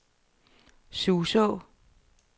Suså